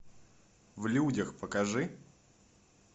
в людях покажи